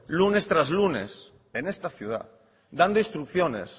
lunes tras lunes en esta ciudad dando instrucciones